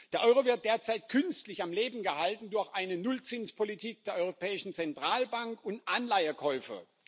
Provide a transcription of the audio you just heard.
Der Euro wird derzeit künstlich am Leben gehalten durch eine Nullzinspolitik der Europäischen Zentralbank und Anleihekäufe.